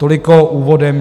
Toliko úvodem.